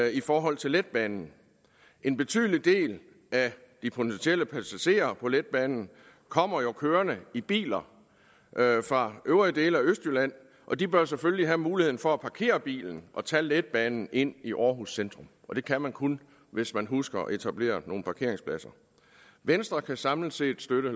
i forhold til letbanen en betydelig del af de potentielle passagerer på letbanen kommer jo kørende i biler fra øvrige dele af østjylland og de bør selvfølgelig have muligheden for at parkere bilen og tage letbanen ind i aarhus centrum og det kan man kun hvis man husker at etablere nogle parkeringspladser venstre kan samlet set støtte